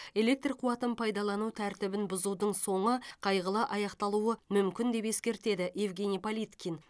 электр қуатын пайдалану тәртібін бұзудың соңы қайғылы аяқталуы мүмкін деп ескертеді евгений политкин